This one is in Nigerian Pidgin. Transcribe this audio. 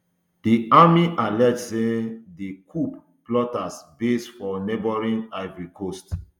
di army allege say um di coup plotters base for neighbouring ivory coast